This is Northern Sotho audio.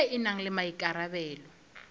ye e na le maikarabelo